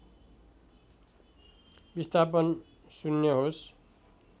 विस्थापन शून्य होस्